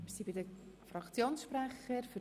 Wir kommen zu den Fraktionssprechern.